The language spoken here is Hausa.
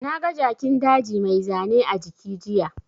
Na ga Jakin daji mai zane a jiki jiya